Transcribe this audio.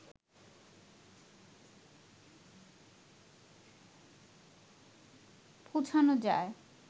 পৌছানো যায়